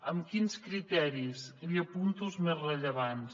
amb quins criteris li apunto els més rellevants